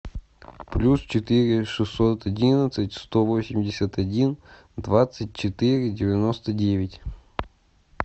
плюс четыре шестьсот одиннадцать сто восемьдесят один двадцать четыре девяносто девять